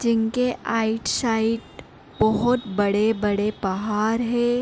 जिनके आइट साइड बहुत बड़े - बड़े पहाड़ है।